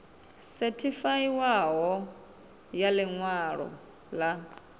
sethifaiwaho ya ḽi ṅwalo ḽa